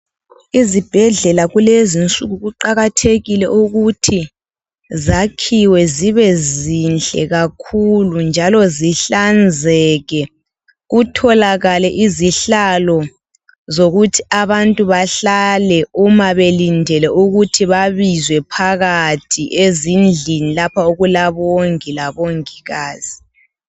Izibhedlela kulezinsuku kuqakathekile ukuthi zakhiwe zibe zinhle kakhulu njalo zihlanzeke .Kutholakale izihlalo zokuthi abantu bahlale uma belindele ukuthi babizwe phakathi ezindlini lapho okulabongi labongikazi .